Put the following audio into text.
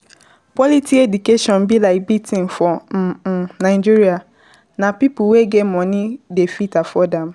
quality education be like big thing for um um Nigeria and na pipo wey get money dey fit afford am